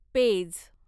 page